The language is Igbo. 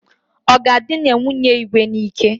Ọ ga-edina nwunye Igwe n'ike?